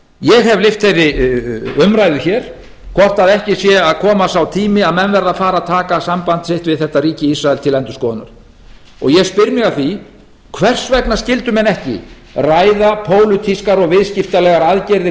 ég hef lyft þeirri umræðu hér hvort ekki sé að koma sá tími að menn verði að fara að taka samband sitt við þetta ríki ísrael til endurskoðunar ég spyr mig að því hvers vegna skyldu menn ekki ræða pólitískar og viðskiptalegar aðgerðir